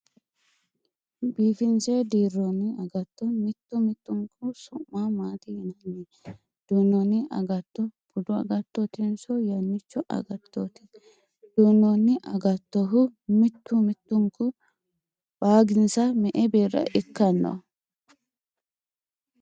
Biifinse dirronni agatto mittu mittunku su'ma maati yinanni ? Duunnooni agatto budu agattootinso yannicho agattooti ? Duunnoni agatohu mittu mittunku waaginsa me"e birra ikkano?